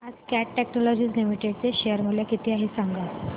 आज Cat Technologies Limited चे share चे मूल्य किती आहे सांगा